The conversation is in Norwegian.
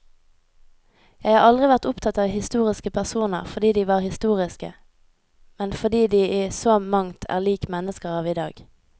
Jeg har aldri vært opptatt av historiske personer fordi de var historiske, men fordi de i så mangt er lik mennesker av i dag.